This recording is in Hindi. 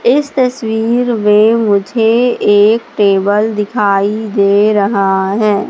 इस तस्वीर में मुझे एक टेबल दिखाई दे रहा है।